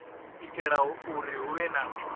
itela uri hu vhe na